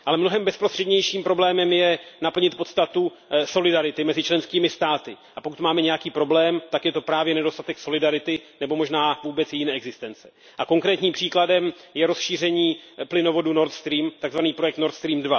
Ale mnohem bezprostřednějším problémem je naplnit podstatu solidarity mezi členskými státy. A pokud máme nějaký problém, tak je to právě nedostatek solidarity nebo možná vůbec její neexistence. A konkrétním příkladem je rozšíření plynovodu Nord Stream, takzvaný projekt Nord Stream